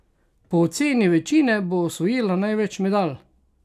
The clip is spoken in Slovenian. Po oceni večine bo osvojila največ medalj!